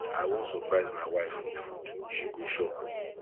i wan surprise my wife with food she go shock